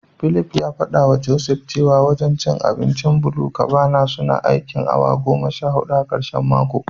Philip ya fadawa Joseph cewa wajen abincin BluCabana suna aikin awa goma sha hudu a karshen mako.